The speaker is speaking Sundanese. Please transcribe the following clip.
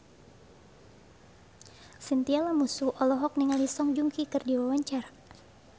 Chintya Lamusu olohok ningali Song Joong Ki keur diwawancara